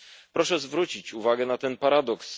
Proszę zwrócić uwagę na ten paradoks.